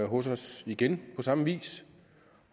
hos os igen på samme vis